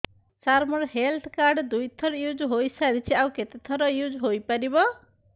ସାର ମୋ health card ଦୁଇ ଥର ୟୁଜ଼ ହୈ ସାରିଛି ଆଉ କେତେ ଥର ୟୁଜ଼ ହୈ ପାରିବ